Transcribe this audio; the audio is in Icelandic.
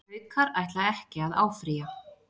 Haukar ætla ekki að áfrýja